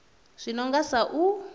zwi no nga sa u